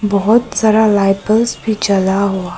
बहुत सारा light bulbs भी जला हुआ--